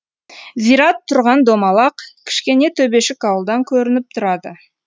зират тұрған домалақ кішкене төбешік ауылдан көрініп тұрады